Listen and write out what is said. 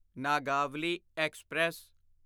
Nagavali express